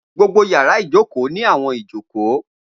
Gbogbo yàrá ìjókòó ni awọn ijoko.